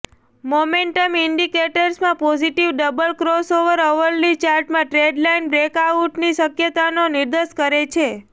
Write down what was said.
momentum ઇન્ડિકેટર્સમાં positive double crossover hourly ચાર્ટમાં trendline બ્રેકઆઉટની શક્યતાનો નિર્દેશ કરે છે